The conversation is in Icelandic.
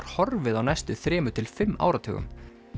horfið á næstu þremur til fimm áratugum